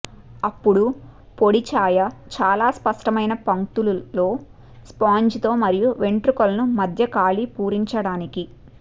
అప్పుడు పొడి ఛాయ చాలా స్పష్టమైన పంక్తులు లో స్పాంజితో మరియు వెంట్రుకలను మధ్య ఖాళీ పూరించడానికి